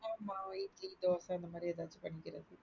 மாவை இட்லி தோச இந்த மாரி ஏதாது பண்ணிக்க,